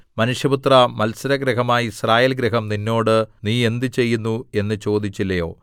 മനുഷ്യപുത്രാ മത്സരഗൃഹമായ യിസ്രായേൽഗൃഹം നിന്നോട് നീ എന്ത് ചെയ്യുന്നു എന്ന് ചോദിച്ചില്ലയോ